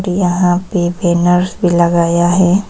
यहां पे बैनर भी लगाया है।